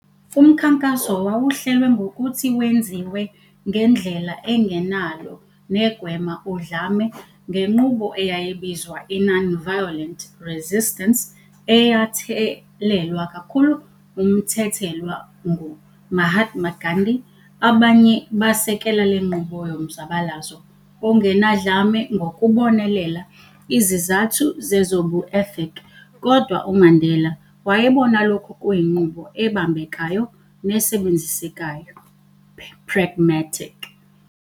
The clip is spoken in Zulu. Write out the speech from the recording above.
Umkhankaso wawuhlelwe ngokuthi wenziwe ngendlela engenalo negwema udlame, ngenqubo eyayibizwa i-nonviolent resistance eyathelelwa kakhulu umthethelwa ngu-Mahatma Gandhi, abanye basekela lenqubo yomzabalazo ongenadlame ngokubonelela izizathu zezobu ethic, kodwa uMandela wayebona lokhu kuyinqubo ebambekayo nesebenzisekayo, pragmatic.